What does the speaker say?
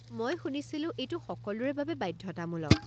মই শুনিছিলোঁ এইটো সকলোৰে বাবে বাধ্যতামূলক।